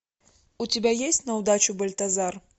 у тебя есть на удачу бальтазар